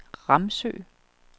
Ramsø